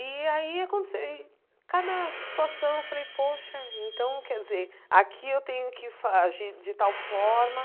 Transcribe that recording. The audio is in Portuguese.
E aí acontece ih, cada situação, eu falei, poxa, então, quer dizer, aqui eu tenho que fa agir de tal forma.